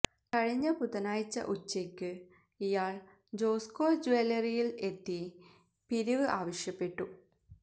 കഴിഞ്ഞ ബുധനാഴ്ച ഉച്ചയ്ക്ക് ഇയാള് ജോസ്കോ ജൂവലറിയില് എത്തി പിരിവ് ആവശ്യപ്പെട്ടു